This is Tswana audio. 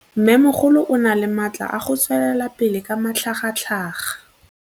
Mmêmogolo o na le matla a go tswelela pele ka matlhagatlhaga.